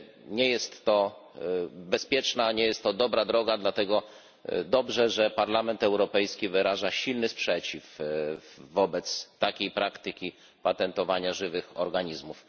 Nie jest to bezpieczna, nie jest to dobra droga, dlatego dobrze, że Parlament Europejski wyraża silny sprzeciw wobec takiej praktyki patentowania żywych organizmów.